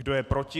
Kdo je proti?